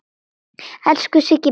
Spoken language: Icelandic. Elsku Siggi minn og okkar.